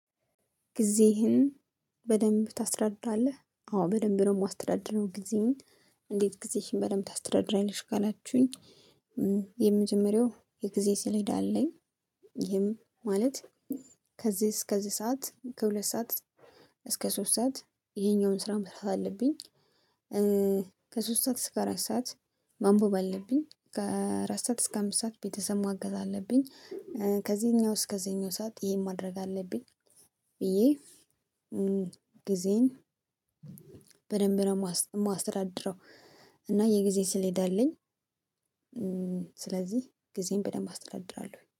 ጊዜህን በደንብ ታስረድራለህ? አዎ በደንብ ነው የማስተዳድረው ጊዜዬን። እንዴት ጊዜሽን በደንብ ታስተዳድራለሽ ካላችሁኝ? የመጀመሪያው የጊዜ ስሌዳ አለኝ። ይሄም ማለት ከዚህ እስከዚህ ሰዓት ከሁለት ሰዓት እስከ ሶስት ሰዓት ይሄኛውን ስራ መስራት አለብኝ። ከሶስት ሰዓት እስከ አራት ሰዓት። ማንበብ አለብኝ ከአራት ሰዓት እስከ አምስት ሰዓት ቤተሰብ ማገዝ አለብኝ። ከዚህኛው እስከዚህኛው ሰዓት ይሄን ማድረግ አለብኝ። ብዬ ጊዜዬን በደንብ ነው የማስተዳድረው። እና የጊዜ ሰሌዳ አለኝ። ስለዚህ ጊዜን በደንብ አስተዳድራለሁኝ።